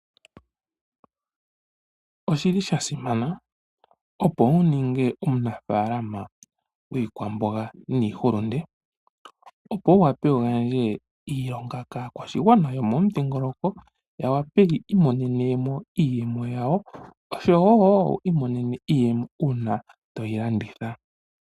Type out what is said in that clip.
Oshi li sha simana opo wu ninge omunafaalama gwiikwamboga niihulunde, opo wu wape wu gandje iilonga kaakwashigwana yomomudhingoloko ya wape yi imonene mo iiyemo yawo oshowo wo wi imonene iiyemo uuna to yi landitha.